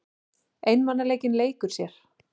Einmanaleikinn leikur sér.